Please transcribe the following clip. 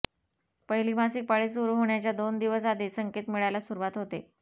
पहिली मासिक पाळी सुरु होण्याच्या दोन दिवस आधी संकेत मिळायला सुरुवात होते